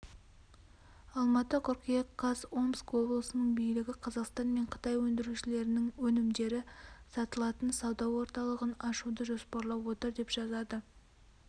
алматы қыркүйек қаз омск облысының билігі қазақстан мен қытай өндірушілерінің өнімдері сатылатын сауда орталығын ашуды жоспарлап отыр деп жазады